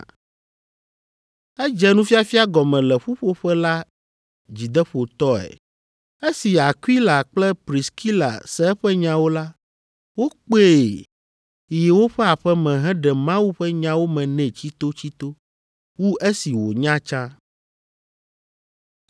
Edze nufiafia gɔme le ƒuƒoƒe la dzideƒotɔe. Esi Akwila kple Priskila se eƒe nyawo la, wokpee yi woƒe aƒe me heɖe Mawu ƒe nyawo me nɛ tsitotsito wu esi wònya tsã.